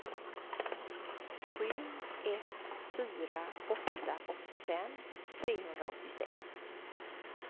sju ett fyra åtta åttiofem trehundraåttiosex